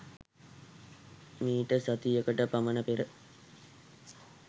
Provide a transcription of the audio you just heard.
මීට සතියකට පමණ පෙර